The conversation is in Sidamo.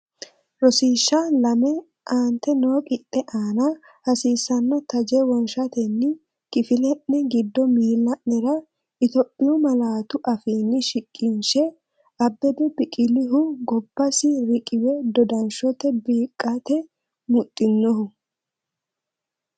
Rosiishsha Lame Aante noo qixxe aana hasiissanno taje wonshatenni kifile’ne giddo miil la’nera Itophiyu malaatu afiinni shiqishshe, Abbebe Biqilihu gobbasi riqiwe dodanshote beeqqate mudhinohu?